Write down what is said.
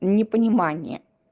непонимание